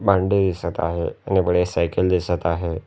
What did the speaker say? भांडी दिसत आहे आणि बढिया सायकल दिसत आहे.